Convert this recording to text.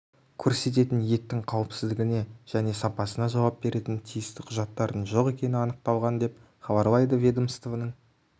көрсететін еттің қауіпсіздігіне және сапасына жауап беретін тиісті құжаттардың жоқ екені анықталған деп хабарлайды ведомствоның